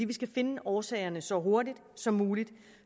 vi skal finde årsagerne så hurtigt som muligt